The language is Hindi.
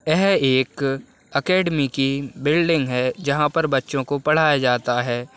यह एक अकेडमी की बिल्डिंग है जहाँ पर बच्चों को पढ़ाया जाता है।